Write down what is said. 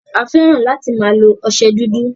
A fẹ́ràn láti máa lo ọsẹ dúdú.